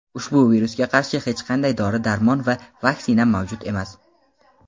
ushbu virusga qarshi hech qanday dori-darmon va vaksina mavjud emas.